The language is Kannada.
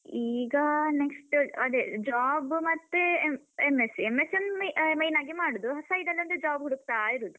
ಈಗ next ಅದೇ job ಮತ್ತೆ ಅಹ್ M.sc, M.sc ಯೊಂದು ಅಹ್ main ಆಗಿ ಮಾಡುದು. side ಅಲ್ಲೊಂದು job ಹುಡಕ್ತಾ ಇರುದು.